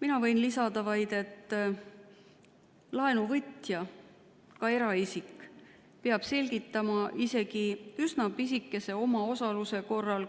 Mina võin vaid lisada, et laenuvõtja, ka eraisik, peab laenu võtmisel selgitama isegi üsna pisikese omaosaluse korral